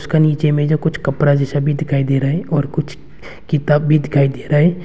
गनीचे में जो कुछ कपरा जैसा भी दिखाई दे रहा है और कुछ किताब भी दिखाई दे रहा है।